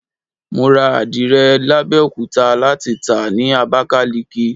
Mo rà àdìrẹ l'Abẹ́òkúta láti tàá ni Abakaliki.